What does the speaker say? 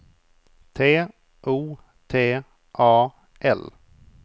T O T A L